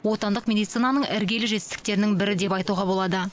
отандық медицинаның іргелі жетістіктерінің бірі деп айтуға болады